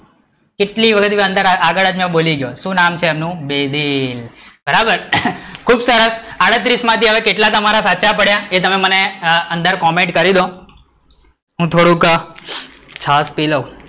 કેટલી વખત આગળ બોલી ગયો શું નામ છે એમનું? વિભીન, બરાબર, ખુબ સરસ, આડત્રીસ માં થી કેટલા તમારા સાચા પડ્યા એ તમે મને અંદર comment કહી ડદો, હું થોડું છાસ પી લવ,